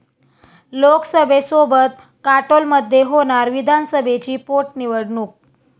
लोकसभेसोबत काटोलमध्ये होणार विधानसभेची पोटनिवडणूक